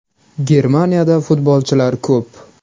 Germaniyada futbolchilar ko‘p.